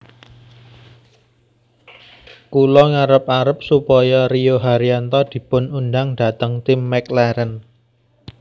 Kula ngarep arep supaya Rio Haryanto dipun undang dateng tim McLaren